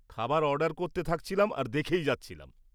খাবার অর্ডার করতে থাকছিলাম আর দেখেই যাচ্ছিলাম।